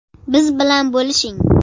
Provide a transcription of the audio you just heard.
Biz bilan bo‘lishing.